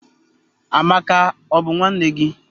Amaka, o bu nwanne gi?